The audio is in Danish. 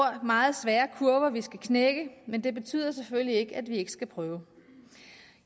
er meget svære at knække men det betyder selvfølgelig ikke at vi ikke skal prøve